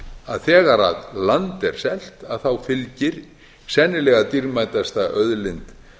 að þegar land er selt þá fylgir sennilega dýrmætasta auðlind